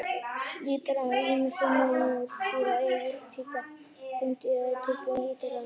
Litarefnin eru ýmist unnin úr dýra- eða jurtaríkinu, úr steindum eða tilbúin litarefni.